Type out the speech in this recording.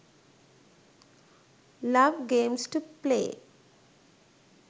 love games to play